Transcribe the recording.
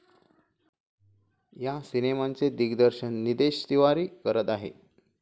या सिनेमाचे दिग्दर्शन निदेश तिवारी करत आहेत.